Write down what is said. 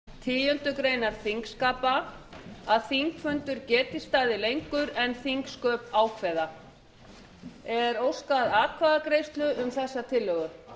forseti leggur til með vísan til fjórðu málsgreinar tíundu greinar þingskapa að þingfundur geti staðið lengur en þingsköp ákveða er óskað atkvæðagreiðslu um þessa tillögu